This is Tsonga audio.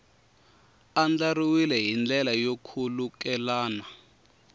andlariwile hi ndlela yo khulukelana